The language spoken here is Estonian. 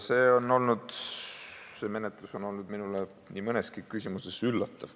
See menetlus on olnud minu jaoks nii mõneski küsimuses üllatav.